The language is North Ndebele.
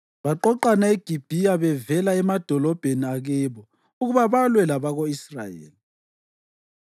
Baqoqana eGibhiya bevela emadolobheni akibo ukuba balwe labako-Israyeli.